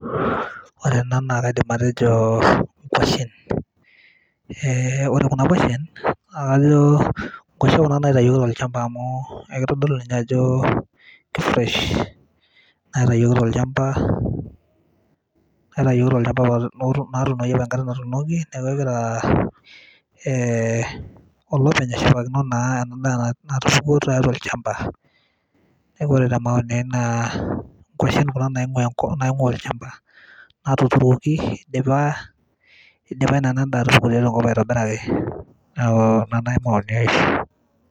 ore kuna naa kaidim atejo inkwashen ,ore kena kwashen naa kajo inkwashe naitayioki tolchamba amuu keitpdolu ninye ajo kei fresh naitayioki tolchamba natuunoki opa enkata natuunoki neaku egira olopeny ashipakino naa endaa natushukuo tiatua olchamba. neaku ore te maoni ai naa kwashen kuna naing'uaa olchamba natuturuoki eidipa ina daa atupuku tiatua ekop aitobiraki . neaku ina naaji maoni ai.